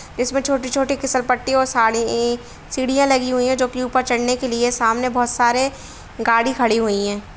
इसमें छोटी-छोटी फिसल पट्टी और सारी सीढ़ियां लगी हुई हैं जो कि ऊपर चढ़ने के लिए है सामने बहुत सारे गाड़ी खड़ी हुई हैं।